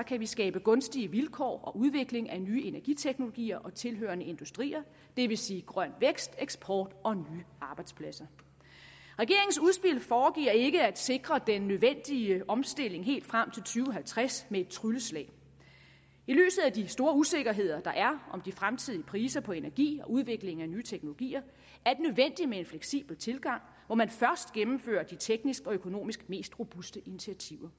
kan skabe gunstige vilkår og udvikling af nye energiteknologier og tilhørende industrier det vil sige grøn vækst eksport og nye arbejdspladser regeringens udspil foregiver ikke at sikre den nødvendige omstilling helt frem tusind og halvtreds med et trylleslag i lyset af de store usikkerheder der er om de fremtidige priser på energi og udvikling af nye teknologier er det nødvendigt med en fleksibel tilgang hvor man først gennemfører de tekniske og økonomisk mest robuste initiativer